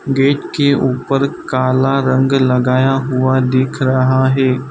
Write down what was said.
Gate के ऊपर काला रंग लगाया हुआ दिख रहा है।